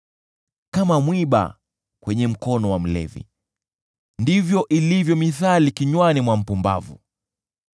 Kama mwiba kwenye mkono wa mlevi ndivyo ilivyo mithali kinywani mwa mpumbavu.